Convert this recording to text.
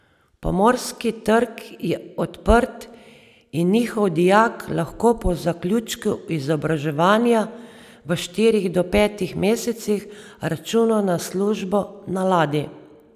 Pomorski trg je odprt in njihov dijak lahko po zaključku izobraževanja v štirih do petih mesecih računa na službo na ladji.